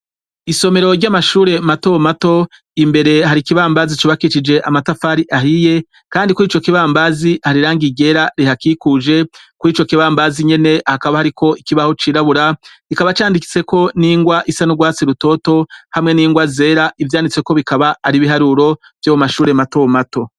Isomero ry'amashure mato mato , mbere hari ikibambazi cubakicije amatafari ahiye, kandi kuri ico kibambazi hari irangi ryera rihakikuje. Kuri ico kibambazi nyene, hakaba hariko ikibaho cirabura, kikaba candikiseko n'ingwa isa n'urwatsi rutoto hamwe n'ingwa zera. Ivyanditseko bikaba ari ibiharuro vyo mu mashure mato mato.